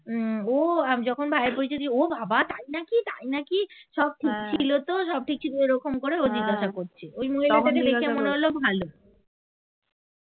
ও যখন ভাইয়ের পরিচয় দিয়েছি ও বাবা তাই নাকি তাই নাকি সব ঠিক ছিল তো সব ঠিক ছিল এরকম করে ও জিজ্ঞাসা করছে ওই মহিলাকে দেখে মনে হলো ভালো